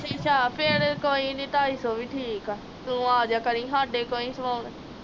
ਫਰ ਕੋਈ ਨੀ ਟਾਈ ਸੋ ਹੀ ਠੀਕ ਆ ਤੂੰ ਅਜੇਆ ਕਰੀ ਸਾਡੇ ਕੋਲੋਂ ਹੀ ਸਵੋਨ